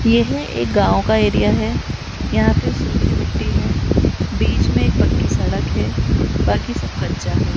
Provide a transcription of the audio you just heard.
येह एक गांव का एरिया है यहां पर सुखी मिटटी है बीच में एक पक्की सड़क है बाकी सब कच्चा है।